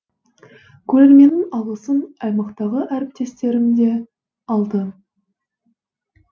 көрерменнің алғысын аймақтағы әріптестерім де алды